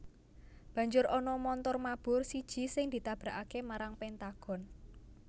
Banjur ana montor mabur siji sing ditabrakaké marang Pentagon